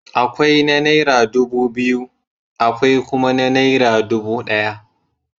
Akwai na naira dubu biyu, akwai kuma na naira dubu ɗaya.